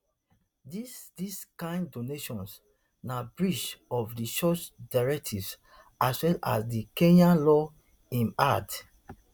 dis dis kain donations na breach of di church directives as well as di kenyan law im add